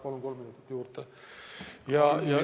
Palun kolm minutit juurde!